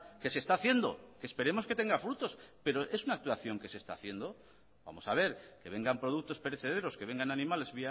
que se está haciendo que esperemos que tenga frutos pero es una actuación que se está haciendo vamos a ver que vengan productos perecederos que vengan animales